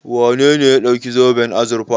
Wane ne ya ɗauki zoben azurfa?